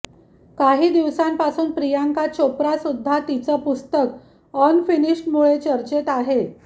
काही दिवसांपासून प्रियांका चोप्रा सुद्धा तिचं पुस्तक अनफिनिश्डमुळे चर्चेत आहे